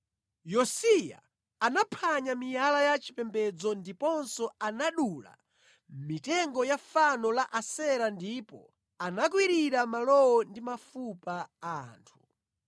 Yosiya anaphwanya miyala ya chipembedzo ndiponso anadula mitengo ya fano la Asera ndipo anakwirira malowo ndi mafupa a anthu.